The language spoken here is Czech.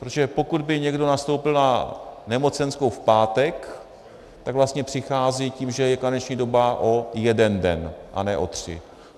Protože pokud by někdo nastoupil na nemocenskou v pátek, tak vlastně přichází tím, že je karenční doba, o jeden den, a ne o tři.